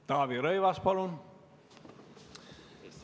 Taavi Rõivas, palun!